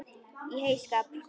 Í heyskap